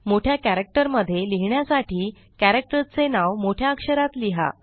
मोठ्या कॅरक्टर मध्ये लिहिण्यासाठी कॅरक्टर चे नाव मोठ्या अक्षरात लिहा